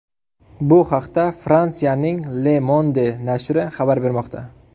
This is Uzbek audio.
Bu haqda Fransiyaning Le Monde nashri xabar bermoqda .